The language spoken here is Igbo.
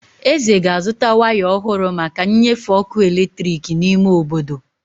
Eze ga azụta waya ọhụrụ maka nnyefe ọkụ eletrik n'ime obodo.